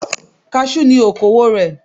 Kaṣú ni okowò rẹ̀.